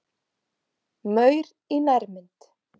Maur í nærmynd.